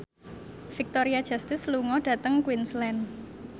Victoria Justice lunga dhateng Queensland